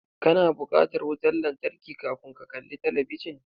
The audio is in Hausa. Ka na bukatan wuta lantarki kafun ka kalli talabijin.